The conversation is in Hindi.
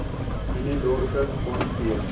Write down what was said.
मैंने दौड़ कर फ़ोन किया